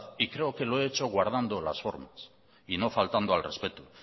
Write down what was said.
y creo que lo he hecho guardando las formas y no faltando el respeto